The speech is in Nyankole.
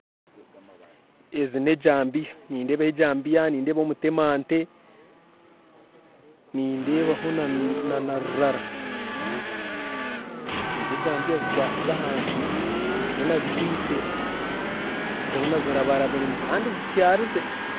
Ezi nejambiya, nindeeba ejambiya nindeebaho na omutema ente, nindeebaho na rurara ezi ejambiya zikwatsize ahansi, tihaine azikwitse zoona zirabarabiremu kandi zityarize.